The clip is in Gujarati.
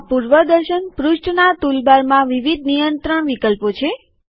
આ પૂર્વદર્શન પૃષ્ઠનાં ટુલબારમાં વિવિધ નિયંત્રણ વિકલ્પો છે